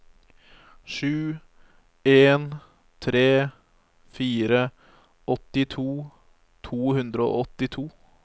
sju en tre fire åttito to hundre og åttito